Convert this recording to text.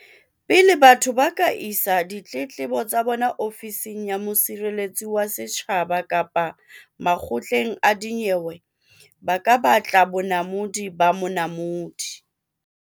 Pele batho ba ka isa ditletlebo tsa bona Ofising ya Mosireletsi wa Setjhaba kapa makgotleng a dinyewe ba ka batla bonamodi ba Monamodi.